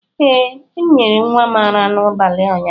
Ee m nyere nwa m ara n'abalị ụnyaahụ